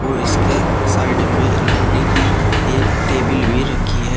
और इसके साइड में लकड़ी की एक टेबिल भी रखी है।